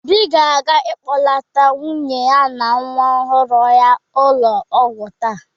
Obi ga-aga kpọlata nwunye ya na nwa ọhụrụ ha n'ụlọ ọgwụ taa.